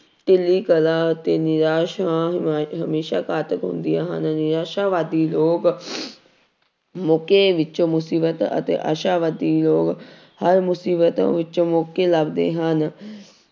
ਅਤੇੇ ਨਿਰਾਸ਼ ਹਮੇਸ਼ਾ ਘਾਤਕ ਹੁੰਦੀਆਂ ਹਨ ਨਿਰਾਸ਼ਾ ਵਾਦੀ ਲੋਕ ਮੌਕੇ ਵਿੱਚੋਂ ਮੁਸੀਬਤ ਅਤੇ ਆਸ਼ਾਵਾਦੀ ਲੋਕ ਹਰ ਮੁਸ਼ੀਬਤ ਵਿੱਚੋਂ ਮੌਕੇ ਲੱਭਦੇ ਹਨ